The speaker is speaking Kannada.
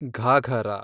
ಘಾಘರ